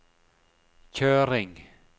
kjøring